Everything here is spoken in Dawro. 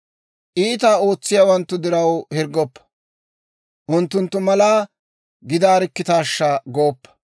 Iitaa ootsiyaawanttu diraw hirggoppa; unttunttu mala gidaarikkitaashsha gooppa.